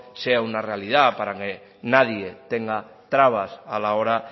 sea una realidad para que nadie tenga trabas a la hora